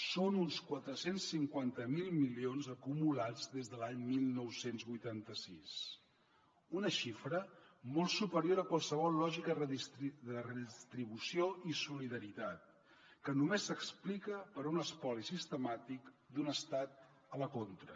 són uns quatre cents i cinquanta miler milions acumulats des de l’any dinou vuitanta sis una xifra molt superior a qualsevol lògica de redistribució i solidaritat que només s’explica per un espoli sistemàtic d’un estat a la contra